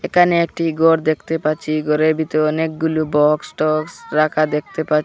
একানে একটি গর দেখতে পাচ্ছি গরের ভিতর অনেকগুলো বক্সটক্স রাখা দেখতে পাচ্ছি।